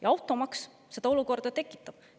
Ja automaks seda olukorda tekitab.